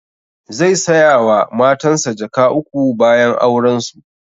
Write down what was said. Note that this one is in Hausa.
Zai saya wa matansa jaka uku bayan auren su